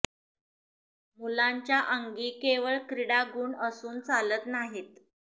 मुलांच्या अंगी केवळ क्रीडा गुण असून चालत नाहीत